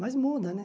Mas muda, né?